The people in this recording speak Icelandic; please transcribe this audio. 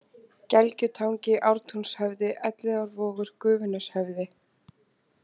Gelgjutangi, Ártúnshöfði, Elliðaárvogur, Gufuneshöfði